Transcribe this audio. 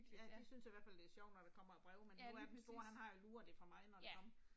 Ja de synes i hvert fald det er sjovt når der kommer et brev, men nu er den store han har jo luret det er fra mig når det kom